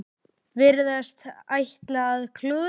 Virðast ætla að klúðra því.